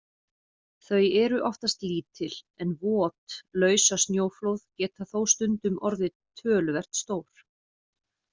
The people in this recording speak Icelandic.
Þau eru oftast lítil, en vot lausasnjóflóð geta þó stundum orðið töluvert stór.